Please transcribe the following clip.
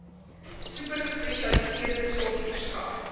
supergespesialiseerde sorg verskaf